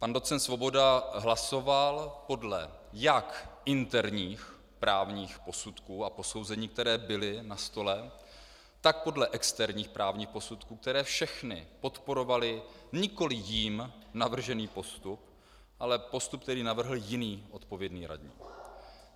Pan doc. Svoboda hlasoval podle jak interních právních posudků a posouzení, které byly na stole, tak podle externích právních posudků, které všechny podporovaly nikoliv jím navržený postup, ale postup, který navrhl jiný odpovědný radní.